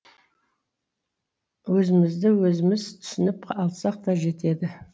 өзімізді өзіміз түсініп алсақ та жетеді